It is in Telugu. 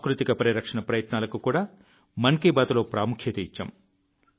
సాంస్కృతిక పరిరక్షణ ప్రయత్నాలకు కూడా మన్ కీ బాత్లో ప్రాముఖ్యత ఇచ్చాం